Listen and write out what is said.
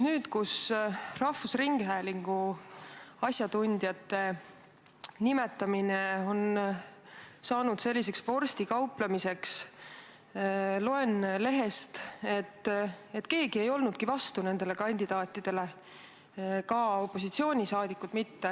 Nüüd, kus rahvusringhäälingu asjatundjate nimetamine on muutunud selliseks vorstikauplemiseks, loen lehest, et keegi ei olnudki nendele kandidaatidele vastu, ka opositsioon mitte.